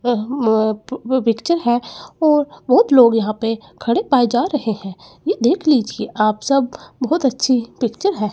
यह mob picture है और बहोत लोग यहां पे खड़े पाए जा रहे हैं ये देख लीजिए आप सब बहोत अच्छी पिक्चर है।